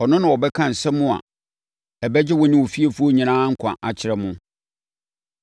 Ɔno na ɔbɛka nsɛm a ɛbɛgye wo ne wo fiefoɔ nyinaa nkwa akyerɛ mo.’